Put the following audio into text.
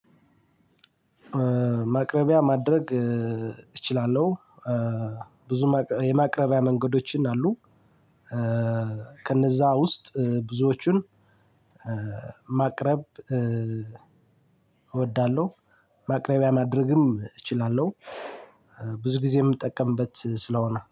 ማቅረቢያ ማድረግ እችላለሁ። ብዙ የማቅረቢያ መንገዶችን አሉ። ከነዚያ ውስጥ ብዙወቹን ማቅረብ እወዳለሁ። ማቅረቢያ ማድረግም እችላለሁ ብዙ ጊዜም የምጠቀምበት ስለሆነ